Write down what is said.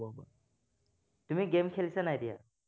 তুমি game খেলিছা নাই এতিয়া?